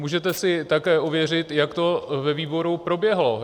Můžete si také ověřit, jak to ve výboru proběhlo.